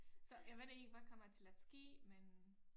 Så jeg ved det ikke hvad kommer til at ske men